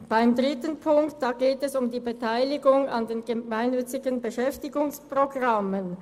Beim dritten Punkt geht es um die Beteiligung an den Gemeinnützigen Beschäftigungsprogrammen.